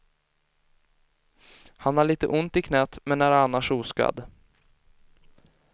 Han har lite ont i knät, men är annars oskadd.